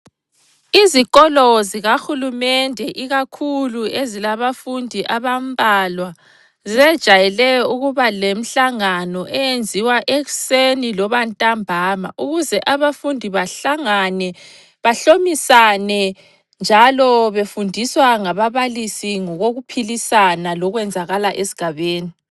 Izikolo zikahulumende ikakhulu ezilabafundi abambalwa zejayele ukuba lemhlangano eyenziwa ekuseni loba ntambama ukuze abafundi bahlangane, bahlomisane njalo befundiswa ngababalisi ngokokuphilisana lokwenzakala esigabeni.